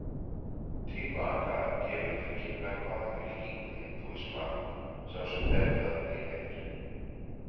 Tilaka gefur til kynna hvaða fylkingu hindúisma sá sem ber það tilheyrir.